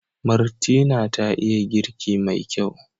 Martina ta iya girki mai kyau.